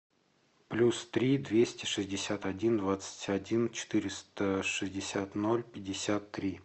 плюс три двести шестьдесят один двадцать один четыреста шестьдесят ноль пятьдесят три